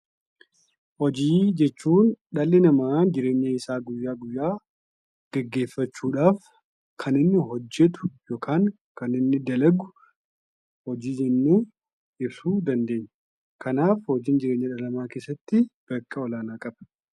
Hojii jechuun dhalli namaa jireenya isaa guyyaa guyyaa geggeeffachuudhaaf Kan inni hojjetu yookaan Kan inni dalagu hojii jennee ibsuu dandeenya. Kanaaf hojiin jireenya dhala namaa keessatti bakka olaanaa qaba.